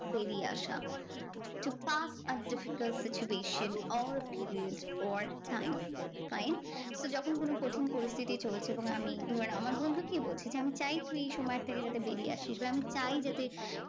বেরিয়ে আসা। to pass a difficult situation all periods or time. fine? তো যখন কোনো কঠিন পরিস্থিতি চলছে এবং আমি ধরে আমার বন্ধুকেই বলছি যে, আমি চাই তুই এই সময় থেকে যাতে বেরিয়ে আসিস আমি চাই যাতে তুই